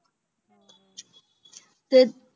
ਫੇਰ?